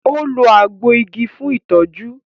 o lo àgbo ìgi fún itọju